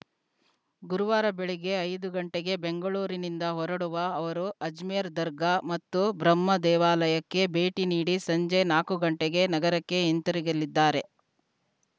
ಗುರುವಾರ ಬೆಳಗ್ಗೆ ಐದು ಗಂಟೆಗೆ ಬೆಂಗಳೂರಿನಿಂದ ಹೊರಡುವ ಅವರು ಅಜ್ಮೇರ್‌ ದರ್ಗಾ ಮತ್ತು ಬ್ರಹ್ಮ ದೇವಾಲಯಕ್ಕೆ ಭೇಟಿ ನೀಡಿ ಸಂಜೆ ನಾಕು ಗಂಟೆಗೆ ನಗರಕ್ಕೆ ಹಿಂತಿರುಗಲಿದ್ದಾರೆ